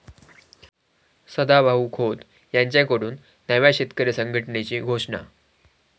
सदाभाऊ खोत यांच्याकडून नव्या शेतकरी संघटनेची घोषणा